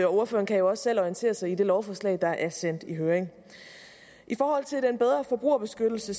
ordføreren kan jo også selv orientere sig i det lovforslag der er sendt i høring i forhold til en bedre forbrugerbeskyttelse